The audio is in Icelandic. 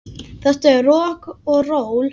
Þetta er rokk og ról.